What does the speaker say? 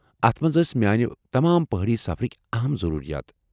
اتھ منٛز ٲس میٲنہِ تمام پہٲڈی سفرٕکۍ اہم ضروٗرِیات ۔